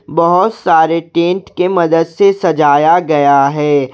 बहुत सारे टेंट के मदद से सजाया गया है।